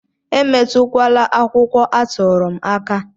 Emetụla akwụkwọ atụrụ m aka!